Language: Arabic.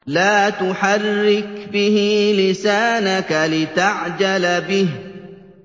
لَا تُحَرِّكْ بِهِ لِسَانَكَ لِتَعْجَلَ بِهِ